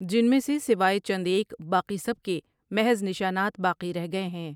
جن میں سے سوائے چند ایک باقی سب کے محض نشانات باقی رہ گئے ہیں ۔